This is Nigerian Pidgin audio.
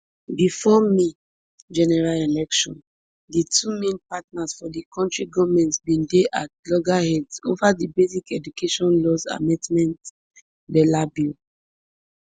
bifor may general election di two main partners for di current goment bin dey at loggerheads ova di basic education laws amendment bela bill